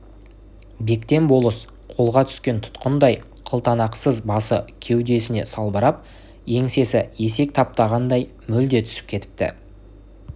бектен болыс қолға түскен тұтқындай қылтанақсыз басы кеудесіне салбырап еңсесі есек таптағандай мүлде түсіп кетіпті